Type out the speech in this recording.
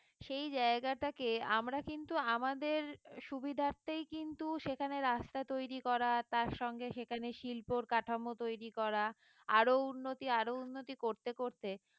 সে জায়গাটাকে আমরা কিন্তু আমাদের সুবিধার্থেই কিন্তু সেখানে রাস্তা তৈরি করা তার সঙ্গে সেখানে শিল্পর কাঠামো তৈরি করা আরো উন্নতি আরো উন্নতি করতে করতে